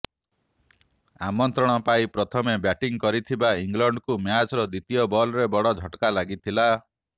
ଆମନ୍ତ୍ରଣ ପାଇ ପ୍ରଥମେ ବ୍ୟାଟିଂ କରିଥିବା ଇଂଲଣ୍ଡକୁ ମ୍ୟାଚର ଦ୍ୱିତୀୟ ବଲରେ ବଡ଼ ଝଟକା ଲାଗିଥିଲା